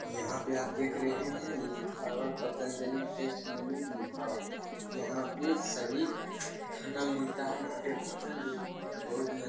यहां पे आप देख रहे है लिखा हुआ है पतंजलि टेस्ट ढाबा यहां पे सभी खाना मिलता है यहां पे भोजन जो की बहुत ही --